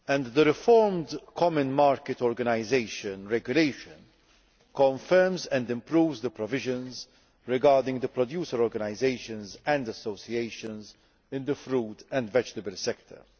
The reformed Common Market Organisation regulation confirms and improves the provisions on producer organisations and associations in the fruit and vegetable sector.